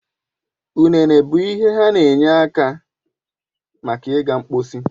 Ụnene bụ ihe he n'enye aka maka iga mposi